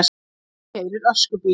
Amma þín keyrir öskubíl!